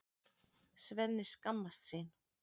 Svenni skammast sín.